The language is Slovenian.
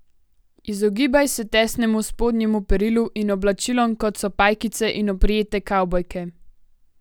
Izogibaj se tesnemu spodnjemu perilu in oblačilom, kot so pajkice in oprijete kavbojke.